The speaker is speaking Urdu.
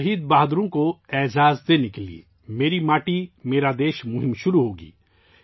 شہید بہادر مرد و خواتین کو خراج تحسین پیش کرنے کے لیے ، 'میری ماٹی میرا دیش' مہم شروع ہو گی